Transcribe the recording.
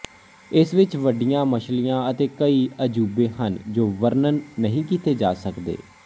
ਇਸ ਵਿੱਚ ਵੱਡੀਆਂ ਮਛਲੀਆਂ ਅਤੇ ਕਈ ਅਜੂਬੇ ਹਨ ਜੋ ਵਰਣਨ ਨਹੀਂ ਕੀਤੇ ਜਾ ਸਕਦੇ